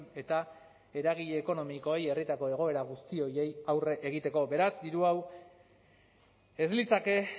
eta eragile ekonomikoei herrietako egoera guzti horiei aurre egiteko beraz hiru hau ez litzake